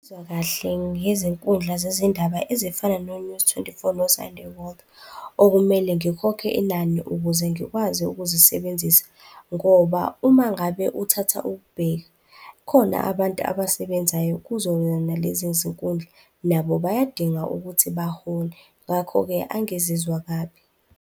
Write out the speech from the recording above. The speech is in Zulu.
kahle ngezinkundla zezindaba ezifana no-News twenty-four no-Sunday World, okumele ngikhokhe inani ukuze ngikwazi ukuzisebenzisa ngoba uma ngabe uthatha ukubheka, khona abantu abasebenzayo kuzo lezi zinkundla. Nabo bayadinga ukuthi bahole. Ngakho-ke angizizwa kabi.